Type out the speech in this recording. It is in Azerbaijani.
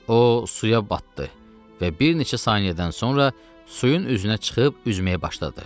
O suya batdı və bir neçə saniyədən sonra suyun üzünə çıxıb üzməyə başladı.